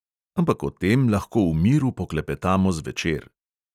Ampak o tem lahko v miru poklepetamo zvečer.